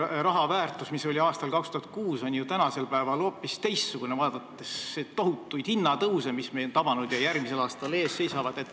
Rahal oli aastal 2006 ju hoopis teistsugune väärtus kui tänasel päeval, vaadates tohutuid hinnatõuse, mis meid on tabanud ja järgmisel aastal ees seisavad.